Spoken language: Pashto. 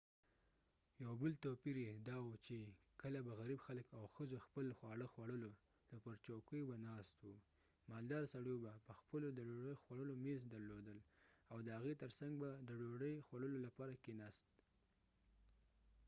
یو بل توپير یې یې داوو چې کله به غریب خلک او ښځو خپل خواړه خوړلو نو پر چوکیو به ناست وو مالداره سړيو به پخپلو د ډوډۍ خوړلو میز درلودل او د هغې تر څنګ به د ډوډۍ خوړلو لپاره کیناست